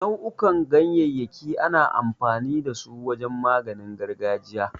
Nau'ukan ganyayyaki ana amfani da su wajen maganin gargajiya.